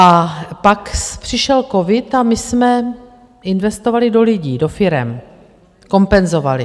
A pak přišel covid a my jsme investovali do lidí, do firem, kompenzovali.